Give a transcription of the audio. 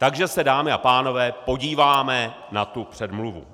Takže se, dámy a pánové, podíváme na tu předmluvu.